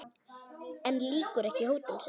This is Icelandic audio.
En lýkur ekki hótun sinni.